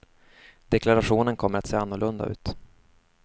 Deklarationen kommer att se annorlunda ut.